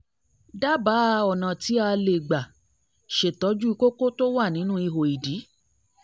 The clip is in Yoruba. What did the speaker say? dábàá ọ̀nà tí tí a lè gbà ṣètọ́jú kókó tó wà nínú ihò ìdí